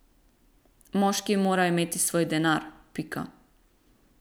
Moški mora imeti svoj denar, pika.